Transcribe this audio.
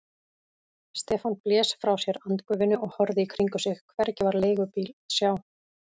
Stefán blés frá sér andgufunni og horfði í kringum sig, hvergi var leigubíl að sjá.